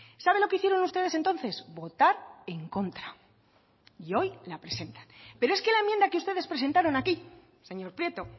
sabe lo que hicieron ustedes entonces votar en contra y hoy la presentan pero es que la enmienda que ustedes presentaron aquí señor prieto